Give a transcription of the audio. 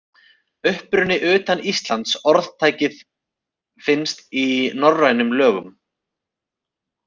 Uppruni utan Íslands Orðtakið finnst í norrænum lögum.